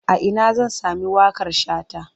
A ina zan sami waƙar Shata?